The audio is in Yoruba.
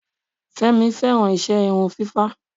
Fẹ́mi fẹ́ràn iṣẹ́ irun fífá.